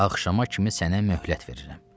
Axşama kimi sənə möhlət verirəm.